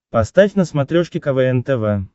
поставь на смотрешке квн тв